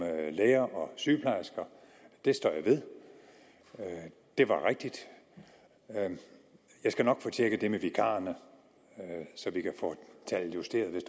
læger og sygeplejersker står jeg ved det var rigtigt jeg skal nok få tjekket det med vikarerne så vi kan få tallet justeret hvis